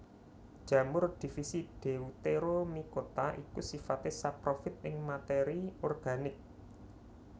Jamur divisi Deuteromycota iku sifaté saprofit ing matéri organik